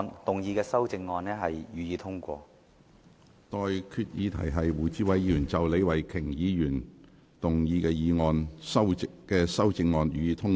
我現在向各位提出的待議議題是：胡志偉議員就李慧琼議員議案動議的修正案，予以通過。